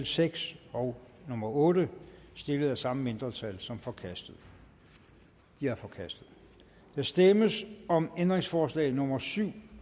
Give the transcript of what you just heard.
seks og nummer otte stillet af samme mindretal som forkastet de er forkastet der stemmes om ændringsforslag nummer syv